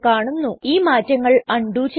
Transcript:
നമുക്ക് ഈ മാറ്റങ്ങൾ അണ്ഡു ചെയ്യാം